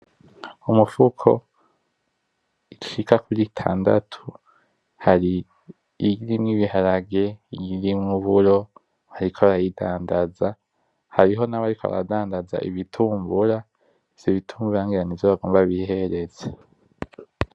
Umufuko icika kuro itandatu hari iirimwo ibiharage iyirimuburo hariko arayidandaza hariho nabo, ariko aradandaza ibitumbura izo ibitumba rangiranijo bagomba bihereze.